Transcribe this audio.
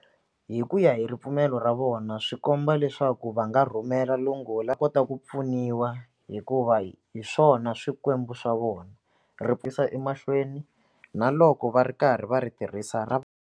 Hi ku ya hi ripfumelo ra vona swi komba leswaku va nga rhumela va kota ku pfuniwa hikuva hi hi swona swikwembu swa vona emahlweni na loko va ri karhi va ri tirhisa ra .